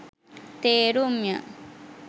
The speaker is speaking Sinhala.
තේරුම් ය.